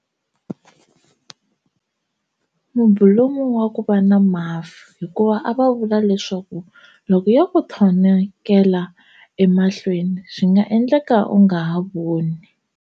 Mubulomu wa ku va na mafu hikuva a va vula leswaku loko yo ku thonokela emahlweni swi nga endleka u nga ha voni.